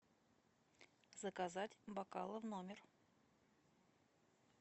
заказать бокалы в номер